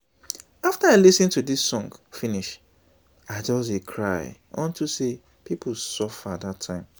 after i lis ten to dis song finish i just dey cry unto say people suffer dat time